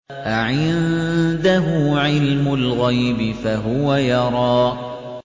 أَعِندَهُ عِلْمُ الْغَيْبِ فَهُوَ يَرَىٰ